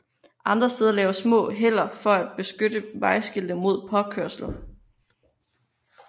Andre steder laves små heller for at beskytte vejskilte mod påkørsel